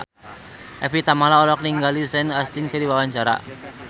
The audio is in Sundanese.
Evie Tamala olohok ningali Sean Astin keur diwawancara